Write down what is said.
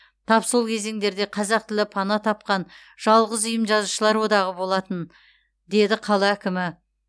тап сол кезеңдерде қазақ тілі пана тапқан жалғыз ұйым жазушылар одағы болатын деді қала әкімі